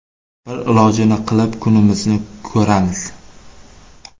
Bir ilojini qilib, kunimizni ko‘ramiz.